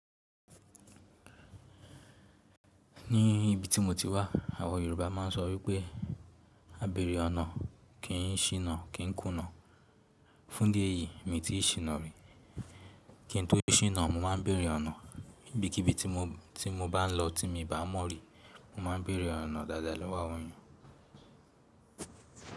Ní ibi tí mo ti wà, àwa Yorùbá máa ń sọ wípé “á béèrè ọ̀nà” kí n ṣìnà, kí n kùnà. Fún idí ẹ̀yìí mi ti ṣìnà rí. Kí n tó ṣìnà, mo ma ń béèrè ọ̀nà. Ibikibi tí mo bá ń lọ tí mi bàá mọ̀ rí, mo ma ń béèrè ọ̀nà dáadáa lọ́wọ́ àwọn èeyàn.